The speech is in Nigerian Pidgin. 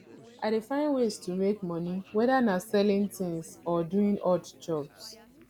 i dey find ways to make monie whether na selling tings or doing odd jobs